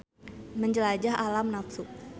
Menjelajah alam nafsu.